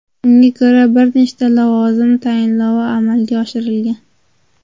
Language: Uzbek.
Unga ko‘ra bir nechta lavozim tayinlovi amalga oshirilgan.